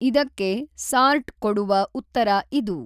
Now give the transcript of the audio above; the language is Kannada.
ಇದಕ್ಕೆ ಸಾರ್ಟ್ ಕೊಡುವ ಉತ್ತರ ಇದು.